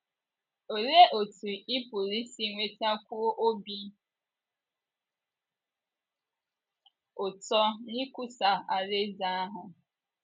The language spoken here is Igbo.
Olee otú ị pụrụ isi nwetakwuo obi ụtọ n’ikwusa alaeze ahụ?